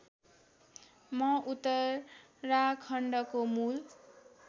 म उत्तराखण्डको मूल